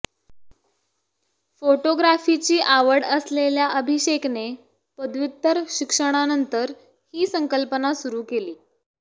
फोटोग्राफीची आवड असलेल्या अभिषेकने पदव्युत्तर शिक्षणानंतर ही संकल्पना सुरू केली